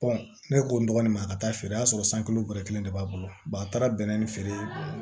ne ko n dɔgɔnin ma a ka taa feere o y'a sɔrɔ san kelen bɔrɛ kelen de b'a bolo a taara bɛnnɛ feere